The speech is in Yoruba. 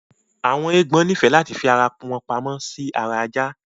Awọn eégbọn nifẹ láti fi arawọn pàmò sì ara Àjà